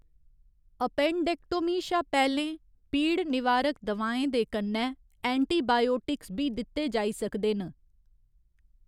Appendectomy शा पैह्‌‌‌लें पीड़ निवारक दवाएं दे कन्नै एंटीबायोटिक्स बी दित्ते जाई सकदे न।